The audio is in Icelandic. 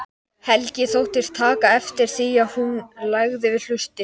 Helgi þóttist taka eftir því að hún legði við hlustir.